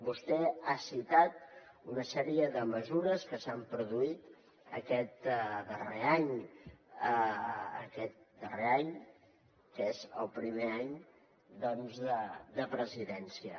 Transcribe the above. vostè ha citat una sèrie de mesures que s’han produït aquest darrer any que és el primer any doncs de presidència